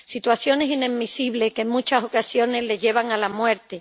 situaciones inadmisibles que, en muchas ocasiones, les llevan a la muerte.